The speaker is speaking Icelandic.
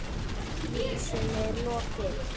Vísunni er lokið.